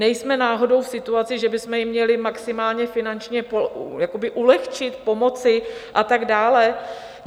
Nejsme náhodou v situaci, že bychom jim měli maximálně finančně ulehčit, pomoci a tak dále?